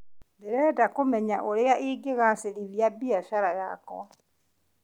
Ndĩrenda kũmenya ũrĩa ingĩgacĩrithia biacara yakwa.